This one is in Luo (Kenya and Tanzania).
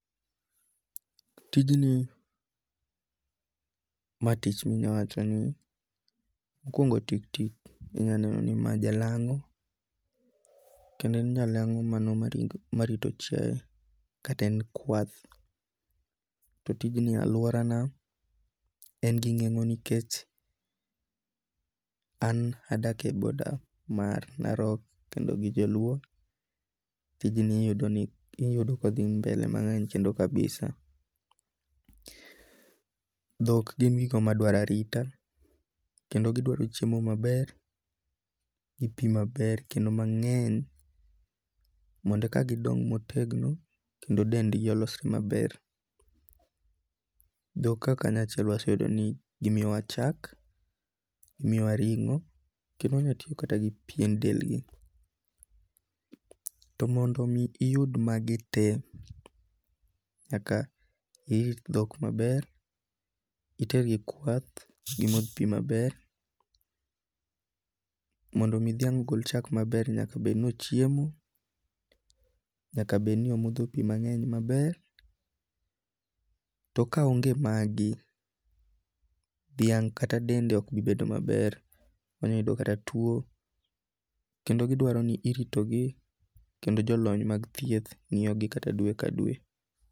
Tijni ma tich minyi wachoni, mokuongo tik tik inyaneno ni mae jalang'o kendo en jalango' mano ma marito chiaye kata en kwath, to tijni aluorana en gi nengo nikech an adake border mar Narok kendo ji joluo, tijni iyudo ni iyudo kothi mbele kendo kabisa. Dhok gin gigo ma dwaro arita, kendo gidwaro chiemo maber, gi pi maber kendo mange'ny mondo eka gidong' motegno kendo dendgi olosore maber, dhok kaka newaseyudo ni gimiyowa chak, gimiyowa ringo' kendo inyalo ti kata gi piend dendgi, to mondo mi iyud magi te nyaka ihik thok maber, itergi kwath, gimoth pi maber, mondo mi thiang' gol chak maber nyaka bed ni ochiemo, nyaka bed ni omotho pi mange'ny maber, to kaonge' magi , thiang' kata dende ok bi bedo maber onyalo yudo kata tuo kendo gidwaro ni iritogi kendo jolony mag thieth ngi'yogi kata dwe ka dwe.